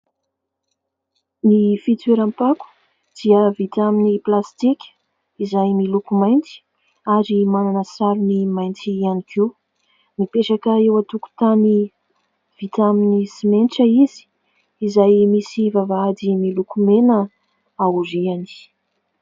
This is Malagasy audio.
Ny fitoeram-pako dia vita amin'ny plasitika, izay miloko mainty ary manana sarony mainty ihany koa, mipetraka eo antokotany vita amin'ny simenitra izy, izay misy vavahady miloko mena aoriany.